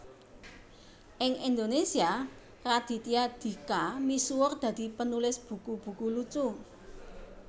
Ing Indonésia Raditya Dika misuwur dadi penulis buku buku lucu